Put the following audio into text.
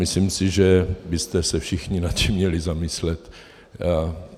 Myslím si, že byste se všichni nad tím měli zamyslet.